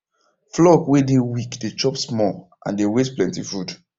flock way dey weak dey chop small and dey waste plenty food